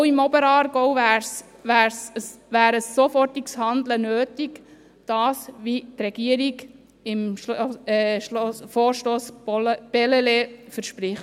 Auch im Oberaargau wäre ein sofortiges Handeln nötig, wie es die Regierung beim Vorstoss Bellelay verspricht.